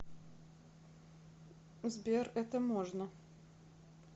сбер это можно